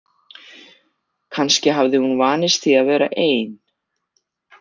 Kannski hafði hún vanist því að vera ein.